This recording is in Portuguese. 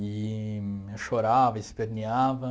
E eu chorava, esperneava.